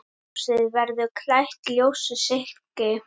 Húsið verður klætt ljósu sinki.